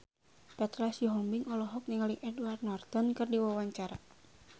Petra Sihombing olohok ningali Edward Norton keur diwawancara